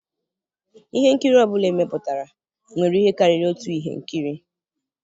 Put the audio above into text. Ihe nkiri ọ bụla emepụtara nwere ihe karịrị otu ihe nkiri.